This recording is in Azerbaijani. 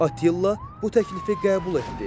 Attila bu təklifi qəbul etdi.